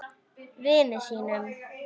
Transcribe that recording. Vini sínum.